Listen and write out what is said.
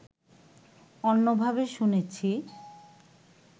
অন্যভাবে শুনেছি